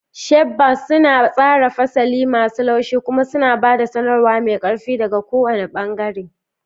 Sharp bangs suna tsara fasali masu laushi kuma suna ba da sanarwa mai ƙarfi daga kowane bangare.